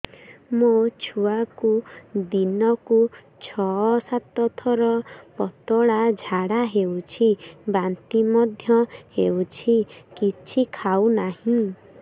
ମୋ ଛୁଆକୁ ଦିନକୁ ଛ ସାତ ଥର ପତଳା ଝାଡ଼ା ହେଉଛି ବାନ୍ତି ମଧ୍ୟ ହେଉଛି କିଛି ଖାଉ ନାହିଁ